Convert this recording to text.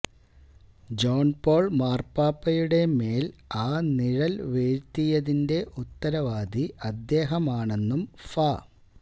John Paul മാര്പാപ്പയുടെ മേല് ആ നിഴല് വീഴ്ത്തിയതിന്റെ ഉത്തരവാദി അദ്ദേഹമാണെന്നും ഫാ